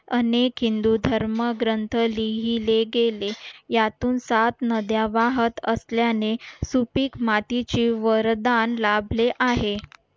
अनेक हिंदू धर्मग्रंथ लिहिले गेले यातून सात नद्या वाहत असल्याने सुपीक मातीची वरदान लाभले आहे